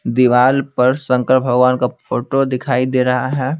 दीवाल पर शंकर भगवान का फोटो दिखाई दे रहा है।